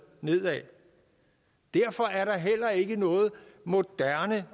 nedad derfor er ikke noget moderne